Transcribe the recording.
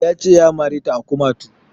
Ya ce ya mare ta a kumatu